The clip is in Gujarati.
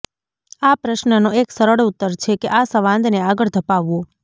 આ પ્રશ્ર્નનો એક સરળ ઉત્તર છે કે આ સંવાદને આગળ ધપાવવો